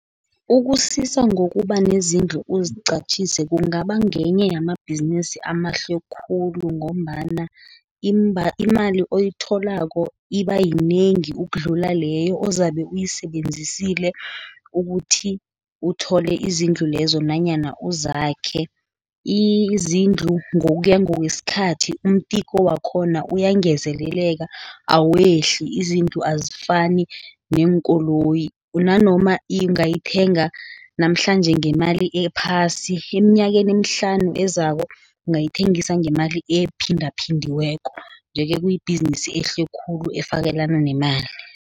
Ukusisa ngokubanezindlu ukuziqatjhise, kungaba ngenye yamabhizinisi amahle khulu, ngombana imali oyitholako ibayinengi ukudlula leyo ozabe uyisebenzisile, ukuthi uthole izindlu lezo, nanyana uzakhe. Izindlu ngokuya ngokwesikhathi umtiko wakhona uyangezeleleka, awehli. Izindlu azifani neenkoloyi nanoma ingayithenga namhlanje ngemali ephasi eminyakeni emihlanu ezako, ungayithengisa ngemali ephindaphindiweko, nje-ke kuyibhizinisi ehle khulu efakelana nemali.